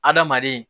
Adamaden